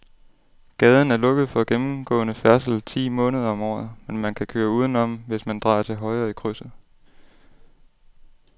Gaden er lukket for gennemgående færdsel ti måneder om året, men man kan køre udenom, hvis man drejer til højre i krydset.